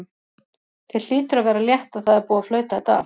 Þér hlýtur að vera létt að það er búið að flauta þetta af?